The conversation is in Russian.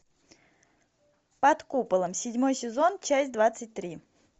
под куполом седьмой сезон часть двадцать три